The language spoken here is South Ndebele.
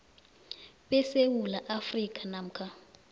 besewula afrika namkha